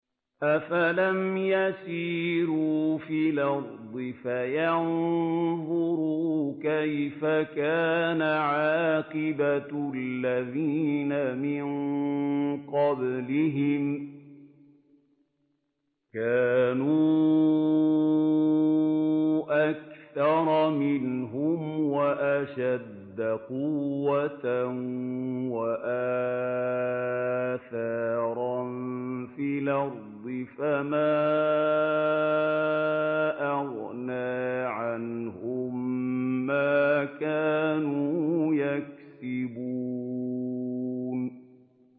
أَفَلَمْ يَسِيرُوا فِي الْأَرْضِ فَيَنظُرُوا كَيْفَ كَانَ عَاقِبَةُ الَّذِينَ مِن قَبْلِهِمْ ۚ كَانُوا أَكْثَرَ مِنْهُمْ وَأَشَدَّ قُوَّةً وَآثَارًا فِي الْأَرْضِ فَمَا أَغْنَىٰ عَنْهُم مَّا كَانُوا يَكْسِبُونَ